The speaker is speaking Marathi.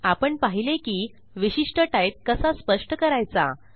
आपण पाहिले की विशिष्ट टाइप कसा स्पष्ट करायचा